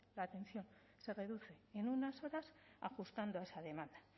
la atención se reduce en unas horas ajustando a esa demanda